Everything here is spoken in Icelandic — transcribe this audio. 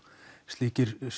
slíkir